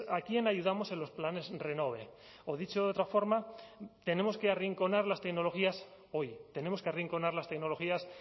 a quién ayudamos en los planes renove o dicho de otra forma tenemos que arrinconar las tecnologías hoy tenemos que arrinconar las tecnologías